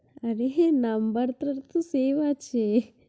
আরে হ, number তোর তো save আছে।